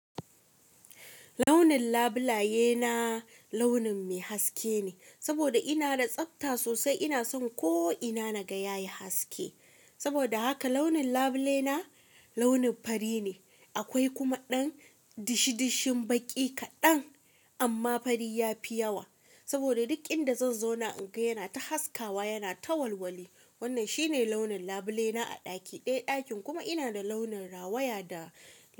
Launin labulaye na launin mai haske ne, saboda ina da tsabta sosai. Ina son ko ina na ga yayi haske. Saboda haka launin labule na launin fari ne. Akwai kuma ɗan dishi-dishin baƙi kaɗan, amma fari ya fi yawa. Saboda duk inda zan zauna in ga yana ta haskawa, yana ta walwali. Wannan shi ne launin labule na a ɗaki ɗai. Ɗakin kuma ina da launin rawaya da.